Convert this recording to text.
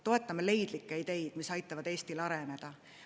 Toetame leidlikke ideid, mis aitavad Eestil areneda.